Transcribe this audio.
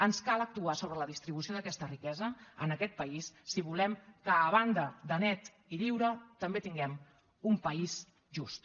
ens cal actuar sobre la distribució d’aquesta riquesa en aquest país si volem que a banda de net i lliure també tinguem un país just